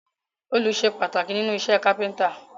Òòlù sé pàtàkì nínú isẹ́ Kápẹ́ńtà